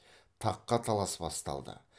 таққа талас басталды